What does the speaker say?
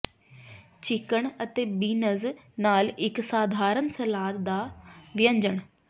chicken ਅਤੇ beans ਨਾਲ ਇੱਕ ਸਧਾਰਨ ਸਲਾਦ ਦਾ ਵਿਅੰਜਨ